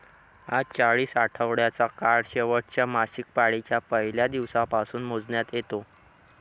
हा चाळीस आठवड्याचा काळ शेवटच्या मासिकपाळीच्या पहिल्या दिवसापासून मोजण्यात येतो